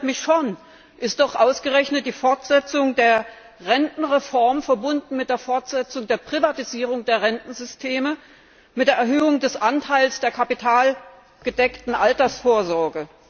Das verwundert mich schon. Ist doch ausgerechnet die Fortsetzung der Rentenreform verbunden mit der Fortsetzung der Privatisierung der Rentensysteme, mit der Erhöhung des Anteils der kapitalgedeckten Altersvorsorge!